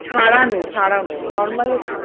ছাড়ানো ছাড়ানো normal হচ্ছে,